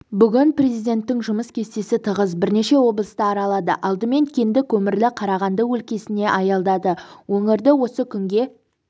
бүгін президенттің жұмыс кестесі тығыз бірнеше облысты аралады алдымен кенді-көмірлі қарағанды өлкесіне аялдады өңірді осы күнге